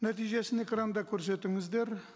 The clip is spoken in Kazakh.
нәтижесін экранда көрсетіңіздер